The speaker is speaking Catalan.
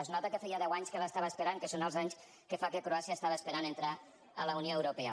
es nota que feia deu anys que l’estava esperant que són els anys que fa que croàcia estava esperant entrar a la unió europea